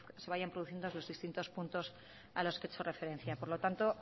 se vayan produciendo en los distintos puntos a los que he hecho referencia por lo tanto